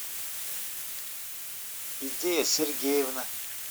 идея сергеевна